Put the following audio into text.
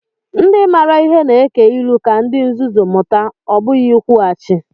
Ndị maara ihe na-eke ilu ka ndị nzuzu mụta, ọ bụghị ikwughachi.